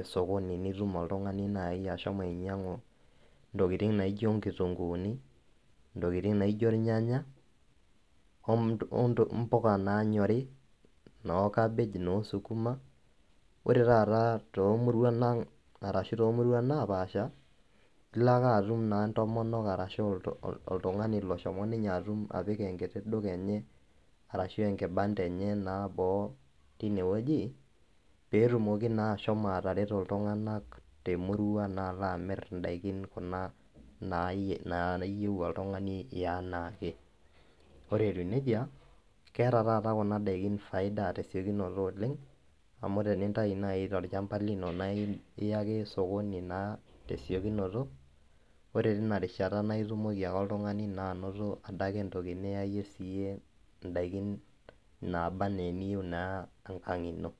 osokoni naidim oltungani ashomo ainyangu ntokitin naijo nkitunguuni, ntokitin naijo irnyanya ompuka nanyori nokabej nosukuma ore taata tomuruan napaasha na ilo ake atum oltungani oshomo apik enkiti duka enye ashu enkibanda enye boo petumoki ashomo atareto emurua amir kuna dakin nayieu oltungani iyaa anaake orw etiu nejia keeta nai kuna dakin faida oleng amu iya ake osokoni tesiokinoto na indim ayawa ndakin enkang ino